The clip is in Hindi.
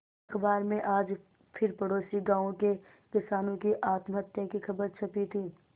अखबार में आज फिर पड़ोसी गांवों के किसानों की आत्महत्या की खबर छपी थी